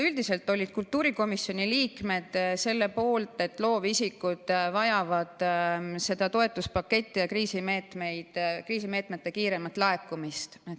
Üldiselt olid kultuurikomisjoni liikmed selle poolt, et loovisikud vajavad seda toetuspaketti ja kriisimeetmete kiiremat laekumist.